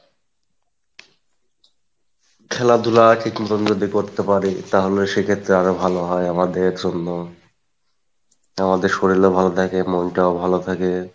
খেলাধুলা ঠিক মতন যদি করতে পারি তাহলে সেক্ষেত্রে আরো ভালো হয় আমাদের জন্য, আমাদের শরীল ও ভালো থাকে মনটাও ভালো থাকে,